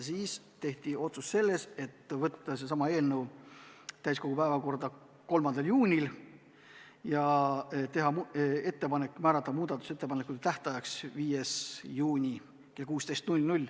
Siis tehti ettepanek võtta see eelnõu täiskogu päevakorda 3. juuniks ja määrata muudatusettepanekute tähtajaks 5. juuni kell 16.